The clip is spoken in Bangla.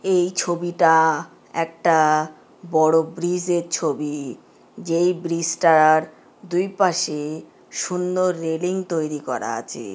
এই ছবিটা একটা বড় ব্রিজের ছবি যেই ব্রিজটার দুই পাশে সুন্দর রেলিং তৈরী করা আছে।